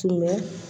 Tun bɛ